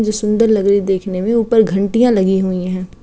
जो सुन्दर लग रहे हैं देखने मे। ऊपर घंटियाँ लगी हुई हैं।